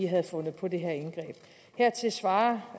havde fundet på det her indgreb hertil svarer